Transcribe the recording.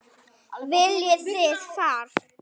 Viljið þið far?